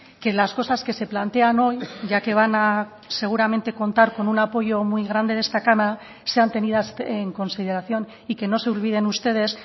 que las cosas que se plantean hoy ya que van a seguramente contar con un apoyo muy grande de esta cámara sean tenidas en consideración y que no se olviden ustedes